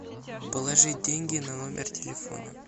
положить деньги на номер телефона